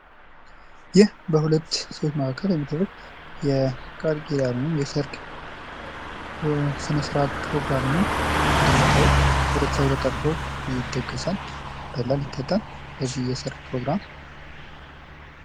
ይህ በሁለት ሰዎች መካከል የሚደረግ የቃልኪዳን ወይም የሰርግ ስነ ስርዓት ፕሮግራም ነው። እንደምታዩት ህብረተሰቡ ተጠርቶ ይደገሳል፣ ይበላል፣ ይጠጣል።